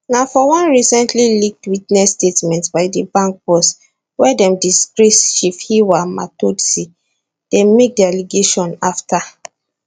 na for one recently leaked witness statement by di bank boss wey dem disgrace tshifhiwa matodzi dem make di allegation afta